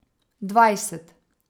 Dvajset.